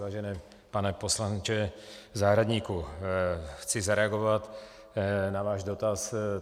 Vážený pane poslanče Zahradníku, chci zareagovat na váš dotaz.